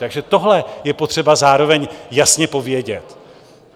Takže tohle je potřeba zároveň jasně povědět.